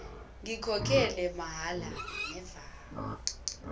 ngikhokhele amahhala never